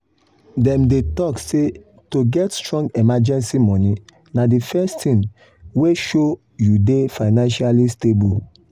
dem dey talk say to get strong emergency money na the first thing wey show you dey financially stable.